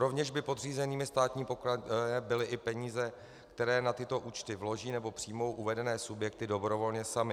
Rovněž by podřízenými státní pokladně byly i peníze, které na tyto účty vloží nebo přijmou uvedené subjekty dobrovolně samy.